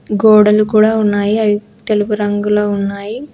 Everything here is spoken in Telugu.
గోడలు కూడా ఉన్నాయి అవి తెలుపు రంగులో ఉన్నాయి.